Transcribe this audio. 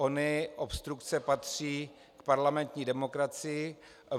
Ony obstrukce patří k parlamentní demokracii.